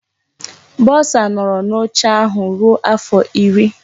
Bọsa nọọrọ n'oche ahụ ruo afọ iri.